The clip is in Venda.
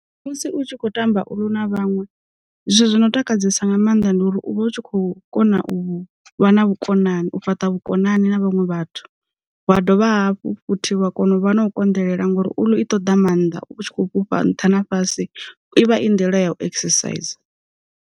Musi u tshi kho tamba u lu na vhaṅwe, zwithu zwi no ntakadzesa nga maanḓa ndi uri u vha u tshi khou kona u vha na vhukonani u fhaṱa vhukonani na vhanwe vhathu, wa dovha hafhu futhi wa kona u vha na u konḓelela ngori u i ṱoḓa maanḓa u tshi kho fhufha nṱha na fhasi ivha i nḓila ya u exerciser.